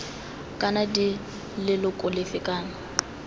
kana d leloko lefe kana